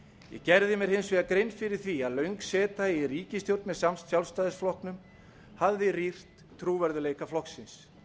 ég gerði mér hins vegar grein fyrir því að löng seta í ríkisstjórn með sjálfstæðisflokknum hafði rýrt trúverðugleika flokksins